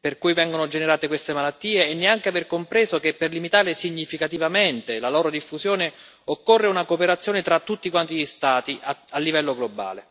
per cui vengono generate queste malattie e non aver compreso neanche che per limitare significativamente la loro diffusione occorre una cooperazione tra tutti gli Stati a livello globale.